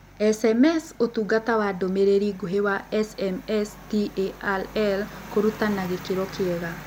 SMS Ũtungata wa Ndũmĩrĩri Nguhĩ wa SMSTaRL Kũruta na gĩkĩro kĩega